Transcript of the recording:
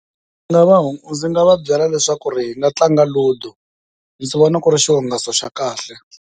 Ndzi nga va ndzi nga va byela leswaku hi nga tlanga ludo ndzi vona ku ri xihungasi xa kahle.